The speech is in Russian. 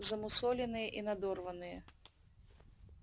замусоленные и надорванные